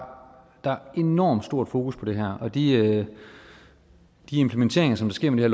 enormt stort fokus på det her og de implementeringer som sker med